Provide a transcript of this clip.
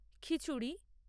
খিচুড়ি